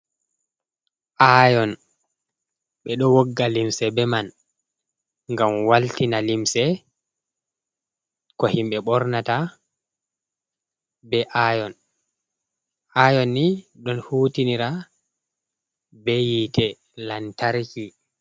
Ayon ɓeɗo wogga limse be man ngam waltina limse ko himɓe ɓornata be ayon. Ayon ni ɗon hutinira be yite lantarki.